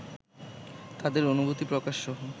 তাদের অনুভূতি প্রকাশসহ